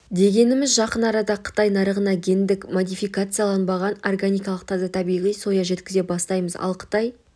дегеніміз жақын арада қытай нарығына гендік модификацияланғанбаған органикалық таза табиғи соя жеткізе бастаймыз ал қытай